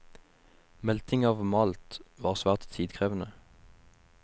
Melting av malt var svært tidkrevende.